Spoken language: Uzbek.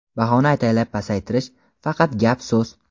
Bahoni ataylab pasaytirish – faqat gap-so‘z.